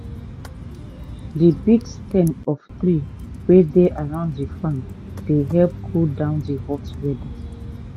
di big stem of tree wey dey around di farm dey help cool down di hot weather.